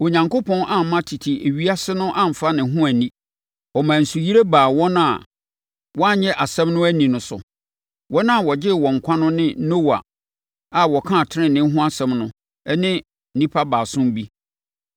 Onyankopɔn amma tete ewiase no amfa ne ho anni. Ɔmaa nsuyire baa wɔn a wɔannye asɛm no anni no so. Wɔn a ɔgyee wɔn nkwa no ne Noa a ɔkaa tenenee ho asɛm no ne nnipa baason bi.